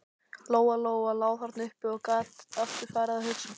Lóa Lóa lá þarna uppi og gat aftur farið að hugsa.